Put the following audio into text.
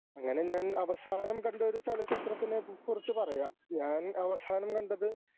അങ്ങനെ ഞാൻ അവസാനം കണ്ട ഒരു ചലച്ചിത്രത്തിനെക്കുറിച്ച് പറയാം. ഞാൻ അവസാനം കണ്ടത്